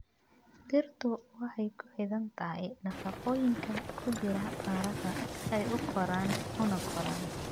Dhirtu waxay ku xidhan tahay nafaqooyinka ku jira carrada si ay u koraan una koraan.